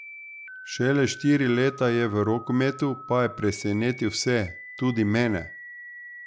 Šele štiri leta je v rokometu, pa je presenetil vse, tudi mene.